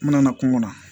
N nana kungo kɔnɔ